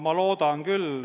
Ma loodan küll.